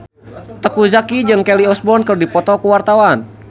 Teuku Zacky jeung Kelly Osbourne keur dipoto ku wartawan